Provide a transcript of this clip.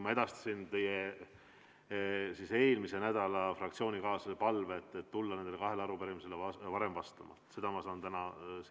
Ma edastasin teie fraktsioonikaaslase eelmisel nädalal esitatud palve tulla nendele kahele arupärimisele vastama varem.